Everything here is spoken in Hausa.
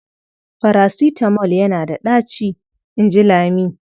"Farasitamol yana da ɗaci", in ji Lami.